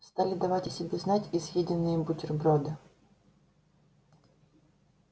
стали давать о себе знать и съеденные бутерброды